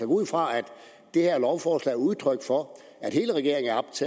ud fra at det her lovforslag er udtryk for